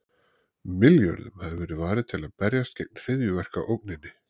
Milljörðum hafi verið varið til að berjast gegn hryðjuverkaógninni.